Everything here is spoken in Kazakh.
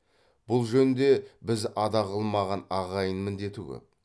бұл жөнде біз ада қылмаған ағайын міндеті көп